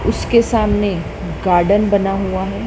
उसके सामने गार्डन बना हुआ है।